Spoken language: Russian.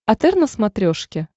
отр на смотрешке